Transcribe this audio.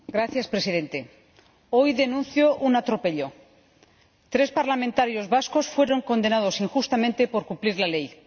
Señor Presidente, hoy denuncio un atropello tres parlamentarios vascos fueron condenados injustamente por cumplir la ley.